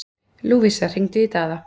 Lúvísa, hringdu í Daða.